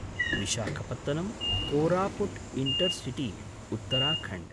Visakhapatnam Koraput intercity Uttarakhand